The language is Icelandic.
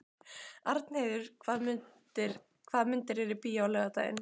Arnheiður, hvaða myndir eru í bíó á laugardaginn?